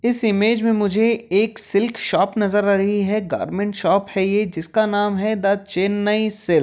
इस इमेज में मुझे एक सिल्क शॉप नजर आ रही है गारमेंट शॉप है ये जिसका नाम है द चेन्नई सिल्क ।